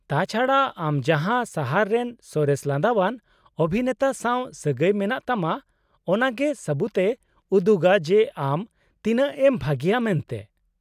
-ᱛᱟᱪᱷᱟᱰᱟ , ᱟᱢ ᱡᱟᱦᱟᱸ ᱥᱟᱦᱟᱨ ᱨᱮᱱ ᱥᱚᱨᱮᱥ ᱞᱟᱸᱫᱟᱣᱟᱱ ᱚᱵᱷᱤᱱᱮᱛᱟ ᱥᱟᱶ ᱥᱟᱹᱜᱟᱹᱭ ᱢᱮᱱᱟᱜ ᱛᱟᱢᱟ ᱚᱱᱟ ᱜᱮ ᱥᱟᱵᱩᱛᱮ ᱩᱫᱩᱜᱟ ᱡᱮ ᱟᱢ ᱛᱤᱱᱟᱹᱜ ᱮᱢ ᱵᱷᱟᱜᱮᱭᱟ ᱢᱮᱱᱛᱮ ᱾